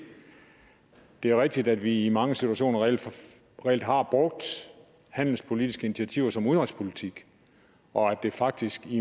det er rigtigt at vi i mange situationer reelt reelt har brugt handelspolitiske initiativer som udenrigspolitik og at der faktisk i